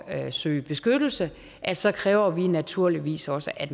at søge beskyttelse at så kræver vi naturligvis også at